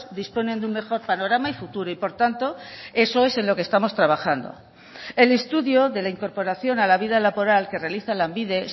disponen de un mejor panorama y futuro y por tanto eso es en lo que estamos trabajando el estudio de la incorporación a la vida laboral que realiza lanbide